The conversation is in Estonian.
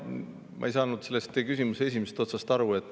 Ma ei saanud teie küsimuse esimesest otsast aru.